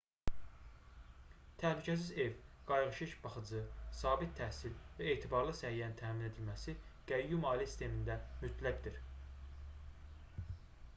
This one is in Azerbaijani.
təhlükəsiz ev qayğıkeş baxıcı sabit təhsil və etibarlı səhiyyənin təmin edilməsi qəyyum ailə sistemində mütləqdir